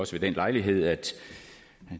også ved den lejlighed at